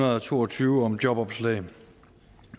og to og tyve om jobopslag